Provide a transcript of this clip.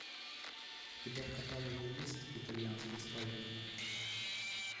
у тебя в каталоге есть итальянский спайдермен